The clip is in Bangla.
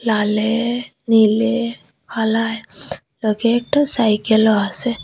লালে নীলে কালায় লোকের একটা সাইকেলও আসে।